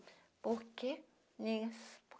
Por quê, meninas?